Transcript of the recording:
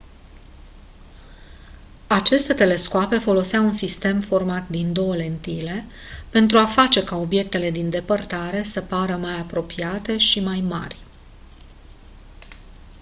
aceste telescoape foloseau un sistem format din 2 lentile pentru a face ca obiectele din depărtare se pară mai apropiate și mai mari